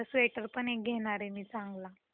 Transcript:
हो मस्त जर्कीन घ्यायच.